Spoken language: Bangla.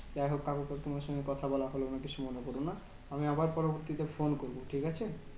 যাইহোক কাকু কাকিমার সঙ্গে কথা বলা হলো না কিছু মনে করো না। আমি আবার পরবর্তীতে ফোন করবো, ঠিকাছে?